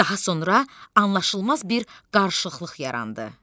Daha sonra anlaşılmaz bir qarışıqlıq yarandı.